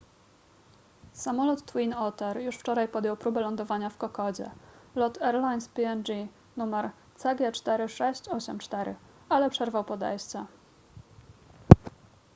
samolot twin otter już wczoraj podjął próbę lądowania w kokodzie lot airlines png nr cg4684 ale przerwał podejście